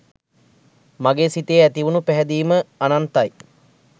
මගේ සිතේ ඇති වුන පැහැදීම අනන්තයි.